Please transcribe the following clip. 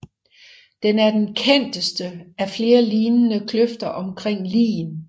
Den er den kendteste af flere lignende kløfter omkring Lien